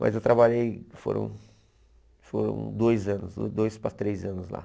Mas eu trabalhei, foram foram dois anos, dois para três anos lá.